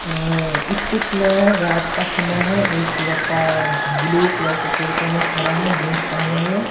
इस पिक में रात का समय है एक लड़का ब्लू कलर के कुर्ते में खड़ा है जींस पहने हुए।